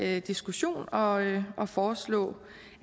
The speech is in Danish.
her diskussion og og foreslå